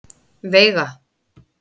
Veiga